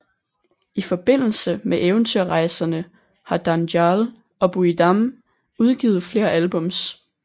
I forbindelse med Eventyrrejserne har Dánjal og Búi Dam udgivet flere albums